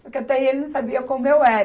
Só que até aí ele não sabia como eu era.